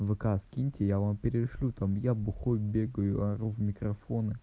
вк скиньте я вам перешлю там я бухой бегаю ору в микрофоны